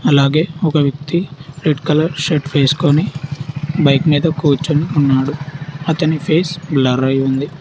అలాగే ఒక వ్యక్తి రెడ్ కలర్ షర్ట్ వేసుకొని బైక్ మీద కూర్చొని ఉన్నాడు అతని ఫేస్ బ్లర్ అయ్యి ఉంది